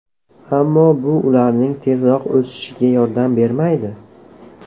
Ammo bu ularning tezroq o‘sishiga yordam bermaydi.